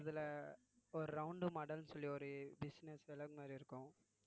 அதுல ஒரு round model ன்னு சொல்லி ஒரு business மாதிரி இருக்கும்